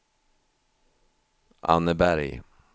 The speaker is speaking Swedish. Anneberg